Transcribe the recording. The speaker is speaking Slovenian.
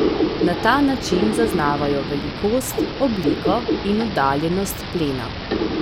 Na ta način zaznavajo velikost, obliko in oddaljenost plena.